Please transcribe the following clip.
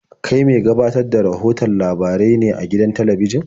Kai me gabatar da rahoton labarai ne a gidan talabijin?